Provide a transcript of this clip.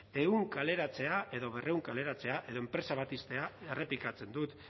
ehun kaleratzea edo berrehun kaleratzea edo enpresa bat ixtea errepikatzen dut